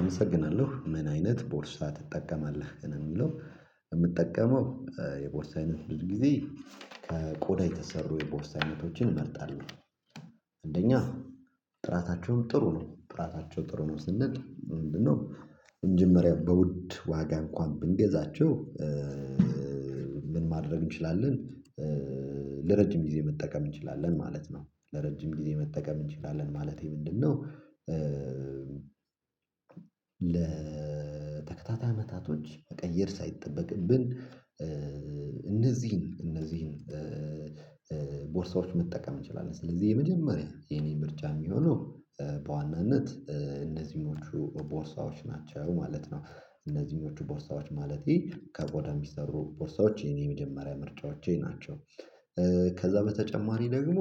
አመሰግናለሁ። ምን አይነት ቦርሳ ትጠቀማለህ? ለሚለው የምጠቀመው የቦርሳ አይነት ብዙ ጊዜ ከቆዳ የተሰሩ የቦርሳይነቶችን እመርጣለሁ። አንደኛ ጥራታቸውን ጥሩ ነው ጥራታቸው ጥሩ ነው። ስንል ምንድነው? ለመጀመሪያ በውድ ዋጋ እንኳን ብንገዛችሁ? ምን ማድረግ እንችላለን? ለረጅም ጊዜ መጠቀም እንችላለን ማለት ነው። ለረጅም ጊዜ መጠቀም እንችላለን ማለቴ ምንድነው? ለተከታታይ አመታቶች መቀየር ሳይጠበቅብን እነዚህን እነዚህን ቦርሳዎች መጠቀም እንችላለን። ስለዚህ የመጀመሪያ የኔ ብርጫ የሚሆነው በዋናነት እነዚህኞቹ ቦርሳዎች ናቸው ማለት ነው። እነዚህኞቹ ቦርሳዎች ማለቴ ከቆዳ የሚሰሩ ቦርሳዎች የኔ የመጀመሪያ ምርጫዎቼ ናቸው። ከዛ በተጨማሪ ደግሞ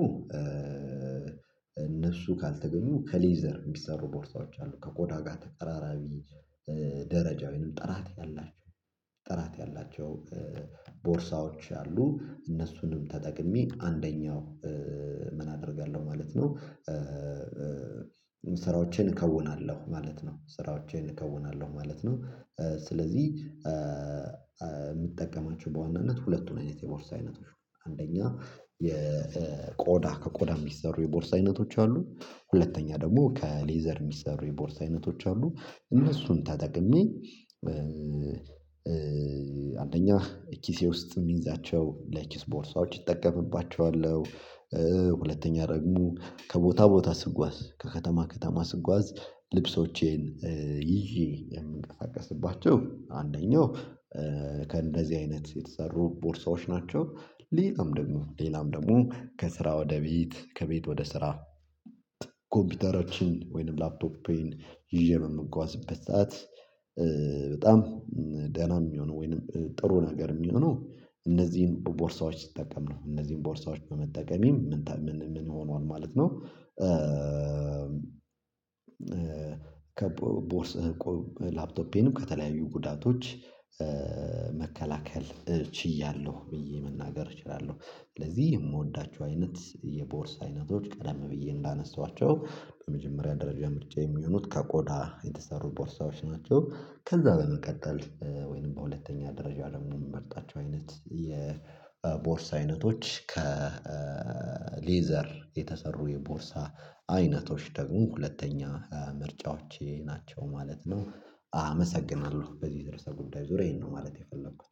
እነሱ ካልተገኙ ከሌዘር የሚሰሩ ቦርታዎች አሉ ከቆዳ ጋር ተቀራራቢ ደረጃወይንም ጥራት ያላቸው ጥራት ያላቸው ቦርሳዎች አሉ። እነሱንም ተጠቅሜ አንደኛው ምን አደርጋለሁ ማለት ነው። ስራዎቼን እከውናለሁ ማለት ነው ስራዎቼን እከውናለሁ ማለት ነው። ስለዚህ የምትጠቀማቸው በዋናነት ሁለቱን አይነት የቦርሳ አይነቶች አንደኛ የቆዳ ከቆዳ የሚሰሩ የቦርሳ አይነቶች አሉ። ሁለተኛ ደግሞ ከሌዘር የሚሰሩ የቦርሳ አይነቶች አሉ። እነሱን ተጠቅሜ አንደኛ ኪሴ ውስጥ የሚይዛቸው ለክሲ ቦርሳዎች እጠቀምባቸዋለሁ። ሁለተኛ ደግሞ ከቦታ ቦታ ስጓዝ ከከተማ ከተማ ስጓዝ ልብሶቼን ይዤ የምንቀሳቀስባችሁ አንደኛው ከእንደዚህ አይነት የተሰሩ ቦርሳዎች ናቸው። ሌላም ደግሞ ሌላም ደግሞ ከስራ ወደ ቤት ከቤት ወደ ስራ ኮምፒውተሮችን ወይንም ላፕቶፕ ይዤ በምጓዝበት ሰዓት በጣም ደህና የሚሆነው ወይንም ጥሩ ነገር የሚሆነው እነዚህን ቦርሳዎች ሲጠቀም ነው። እነዚህን ቦርሳዎች በመጠቀሜ ምን ምን ሆኗል ማለት ነው። ከቦርሳ ላፕቶፔንም ከተለያዩ ጉዳቶች መከላከል እችያለሁ ብዬ መናገር እችላለሁ። ስለዚህ የምወዳቸው አይነት የቦርሳ አይነቶች ቀደም ብዬ እንዳነሳኋቸው በመጀመሪያ ደረጃ ምርጫ የሚሆኑት ከቆዳ የተሰሩ ቦርሳዎች ናቸው። ከዛ በመቀጠል ወይንም በሁለተኛ ደረጃ ደግሞ የምመርጣቸው አይነት የቦርሳ አይነቶች ከሌዘር የተሰሩ የቦርሳ አይነቶች ደግሞ ሁለተኛ ምርጫዎቼ ናቸው ማለት ነው። አመሰግናለሁ በዚህ ድርሰ ጉዳይ ዙሪያ ይሄን ነው ማለት የፈለኩት